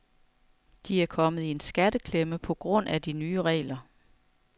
De er kommet i en skatteklemme på grund af de nye regler.